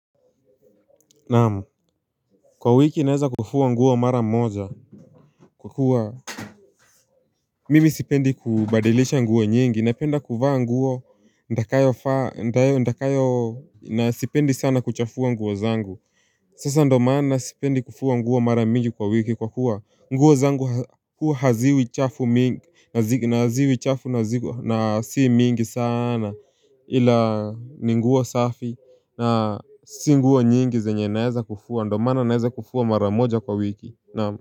Naam Kwa wiki naeza kufua nguo mara moja kwa kuwa Mimi sipendi kubadilisha nguo nyingi napenda kuvaa nguo nitakayovaa nitakayo na sipendi sana kuchafua nguo zangu Sasa ndio maana sipendi kufua nguo mara mingi kwa wiki kwa kuwa nguo zangu huwa haziwi chafu mingi na haziwi chafu na si mingi sana ila ni nguo safi na si nguo nyingi zenye naeza kufua ndio maana naeza kufua mara moja kwa wiki naam.